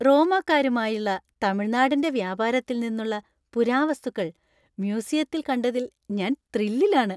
റോമാക്കാരുമായുള്ള തമിഴ്‌നാടിന്‍റെ വ്യാപാരത്തിൽ നിന്നുള്ള പുരാവസ്തുക്കൾ മ്യൂസിയത്തിൽ കണ്ടതിൽ ഞാൻ ത്രില്ലിലാണ്.